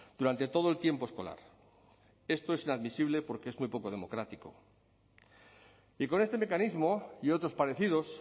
durante todo el tiempo escolar esto es inadmisible porque es muy poco democrático y con este mecanismo y otros parecidos